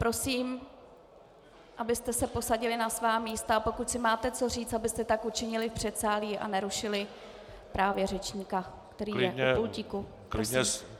Prosím, abyste se posadili na svá místa, a pokud si máte co říct, abyste tak učinili v předsálí a nerušili právě řečníka, který je u pultíku.